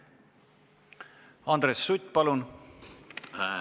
Andres Sutt, palun!